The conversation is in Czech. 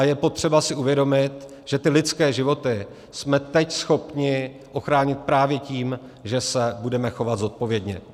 A je potřeba si uvědomit, že ty lidské životy jsme teď schopni ochránit právě tím, že se budeme chovat zodpovědně.